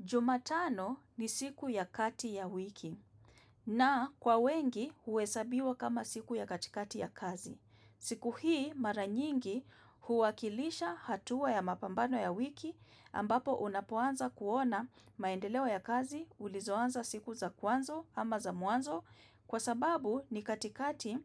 Jumatano ni siku ya kati ya wiki na kwa wengi huhesabiwa kama siku ya katikati ya kazi. Siku hii maranyingi huwakilisha hatua ya mapambano ya wiki ambapo unapoanza kuona maendeleo ya kazi ulizoanza siku za kwanza ama za mwanzo kwa sababu ni katikati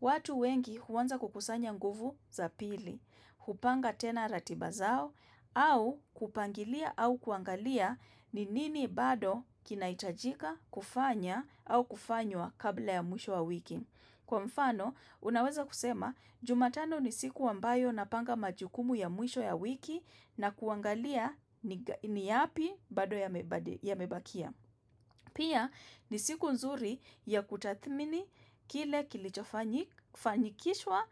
watu wengi huanza kukusanya nguvu za pili. Kupanga tena ratiba zao, au kupangilia au kuangalia ni nini bado kinahitajika kufanya au kufanywa kabla ya mwisho ya wiki. Kwa mfano, unaweza kusema, jumatano ni siku ambayo napanga majukumu ya mwisho ya wiki na kuangalia ni yapi bado yamebakia. Pia ni siku nzuri ya kutathmini kile kilichofanikishwa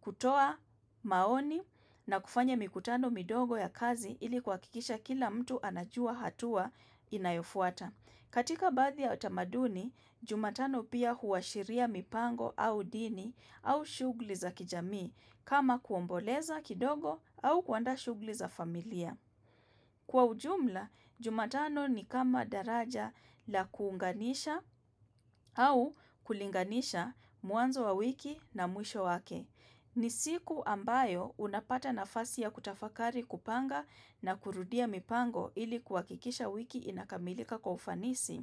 kutoa maoni na kufanya mikutano midogo ya kazi ili kuhakikisha kila mtu anajua hatua inayofuata. Katika baadhi ya utamaduni, jumatano pia huashiria mipango au dini au shughuli za kijamii kama kuomboleza kidogo au kuandaa shughuli za familia. Kwa ujumla, jumatano ni kama daraja la kuunganisha au kulinganisha mwanzo wa wiki na mwisho wake. Ni siku ambayo unapata nafasi ya kutafakari kupanga na kurudia mipango ili kuhakikisha wiki inakamilika kwa ufanisi.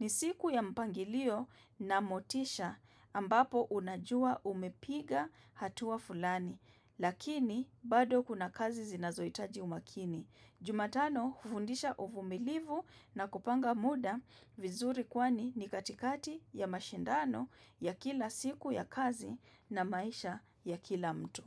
Ni siku ya mpangilio na motisha ambapo unajua umepiga hatua fulani, lakini bado kuna kazi zinazoitaji umakini. Jumatano hufundisha uvumilivu na kupanga muda vizuri kwani ni katikati ya mashindano ya kila siku ya kazi na maisha ya kila mtu.